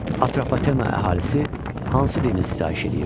Atropatena əhalisi hansı dinə sitayiş eləyirdi?